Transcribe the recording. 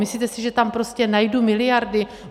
Myslíte si, že tam prostě najdu miliardy?